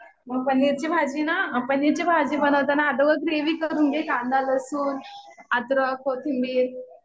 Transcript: पनीरची भाजी ना, पनीरची भाजी बनवताना अगोदर ग्रेव्ही करून घे. कांदा, लसूण, अद्रक, कोथींबीर